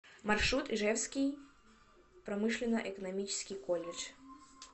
маршрут ижевский промышленно экономический колледж